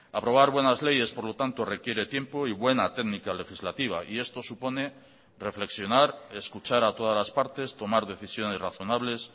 aprobar buenas leyes por lo tanto requiere tiempo y buena técnica legislativa y esto supone reflexionar escuchar a todas las partes tomar decisiones razonables